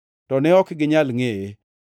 to ne ok ginyal ngʼeye.